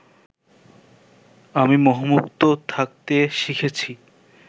আমি মোহমুক্ত থাকতে শিখেছি